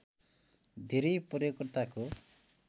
धेरै प्रयोगकर्ताको